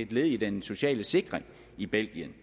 et led i den sociale sikring i belgien